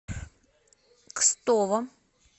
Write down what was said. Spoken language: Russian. кстово